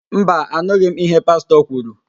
Mba, anụghị m íhé Pastọ kwuru.